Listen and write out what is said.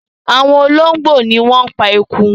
Awon ologbo ni won pa eku